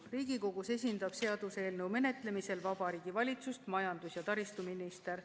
Riigikogus esindab seaduseelnõu menetlemisel Vabariigi Valitsust majandus- ja taristuminister.